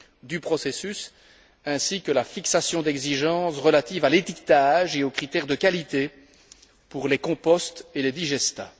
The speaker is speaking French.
du processus, ainsi que la fixation d'exigences relatives à l'étiquetage et aux critères de qualité pour les composts et les digestats.